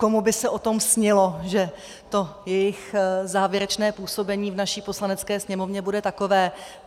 Komu by se o tom snilo, že to jejich závěrečné působení v naší Poslanecké sněmovně bude takové.